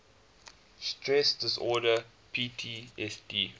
stress disorder ptsd